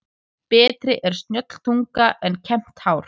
Betri er snjöll tunga en kembt hár.